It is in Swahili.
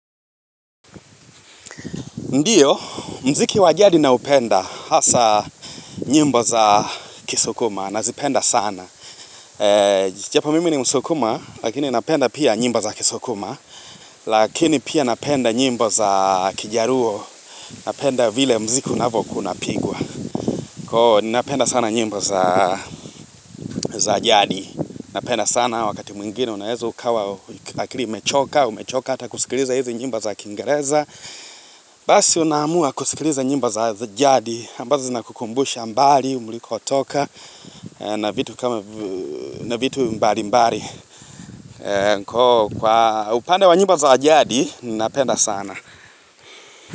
Ndiyo, mziki wajadi naupenda hasa nyimbo za kisokuma na zipenda sana. Japo mimi ni msokuma, lakini napenda pia nyimbo za kisokuma, lakini pia napenda nyimbo za kijaruo, napenda vile mziki unavoku unapigwa. Kwa napenda sana nyimbo za jadi, napenda sana wakati mwingine unaeza ukawa akili imechoka, umechoka ata kusikiliza hizi nyimbo za kingereza. Basi unamua kusikiliza nyimbo za jadi ambazo zina kukumbusha mbali muliko toka na vitu kama na vitu mbali mbali Kwa upande wa nyimbo za jadi Ninapenda sana.